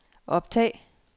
optag